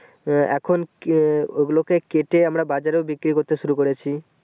আহ এখন আহ ও গুলোকে কেটে আমরা বাজারেও বিক্রি করতে শুরু করাচ্ছি